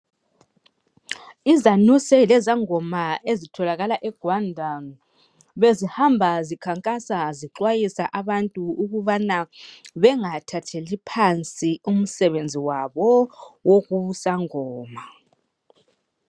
Izanuse leZangoma ezitholakala eGwanda bezihamba zikhankasa zixwayisa abantu ukubana bengathatheli phansi umsebenzi wabo wobusangoma .